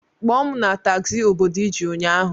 Kpọọ m na tagzi obodo ị ji ụnyaahụ!